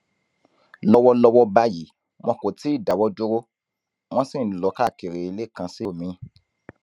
lọwọlọwọ báyìí wọn kò tí ì dáwọ dúró wọn sì ń lọ káàkiri ilé kan sí omiín